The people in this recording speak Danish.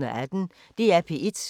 DR P1